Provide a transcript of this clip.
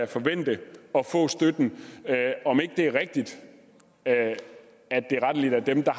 forvente at få støtten om ikke det er rigtigt at at det rettelig er dem der